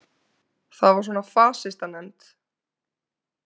Það var svona fasistanefnd.